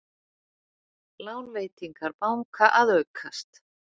Lánveitingar banka að aukast